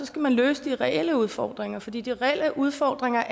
skal man løse de reelle udfordringer fordi de reelle udfordringer